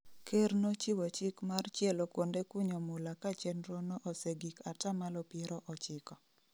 Ker nochiwo chik mar chielo kuonde kunyo mula ka chenro no osegik atamalo piero ochiko